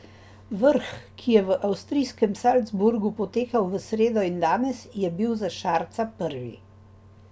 Vrh, ki je v avstrijskem Salzburgu potekal v sredo in danes, je bil za Šarca prvi.